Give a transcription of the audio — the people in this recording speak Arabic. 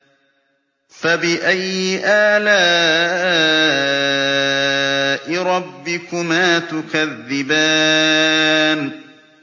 فَبِأَيِّ آلَاءِ رَبِّكُمَا تُكَذِّبَانِ